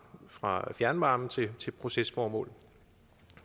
fra fjernvarmen til til procesformål